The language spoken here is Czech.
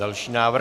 Další návrh.